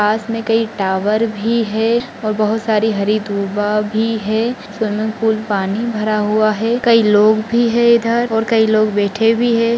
पास मे कही टावर भी है और बहुत सारी हरी धुवा भी है स्विमिंग पूल पानी भरा हुआ है कई लोग भी है इधर और कई लोग बैठे भी है।